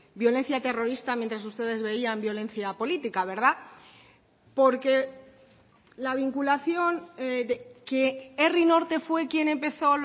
violencia terrorista mientras ustedes veían violencia política verdad porque la vinculación que herri norte fue quien empezó